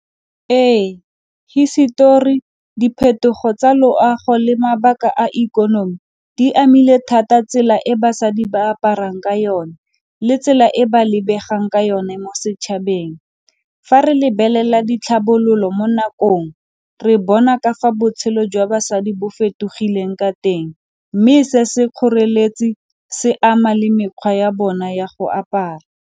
Ee, hisetori, diphetogo tsa loago le mabaka a ikonomi di amile thata tsela e basadi ba aparang ka yone le tsela e ba lebegang ka yone mo setšhabeng. Fa re lebelela ditlhabololo mo nakong, re bona ka fa botshelo jwa basadi bo fetogileng ka teng, mme se se kgoreletsi se ama le mekgwa ya bona ya go apara.